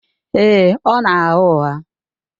Èè, ọ na-agha ụgha.